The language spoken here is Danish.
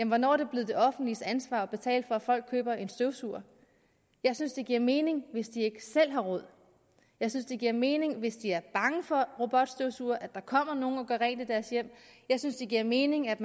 hvornår er det blevet det offentliges ansvar at betale for at folk køber en støvsuger jeg synes det giver mening hvis de ikke selv har råd jeg synes det giver mening hvis de er bange for robotstøvsugere at der kommer nogle og gør rent i deres hjem jeg synes det giver mening at